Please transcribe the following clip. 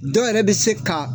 Dɔw yɛrɛ bɛ se ka